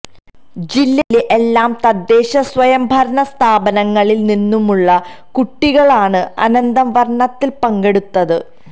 ജില്ലയിലെ എല്ലാ തദ്ദേശ സ്വയം ഭരണ സ്ഥാപനങ്ങളിൽ നിന്നുമുള്ള കുട്ടികളാണ് അനന്തം വർണ്ണത്തിൽ പങ്കെടുത്തത്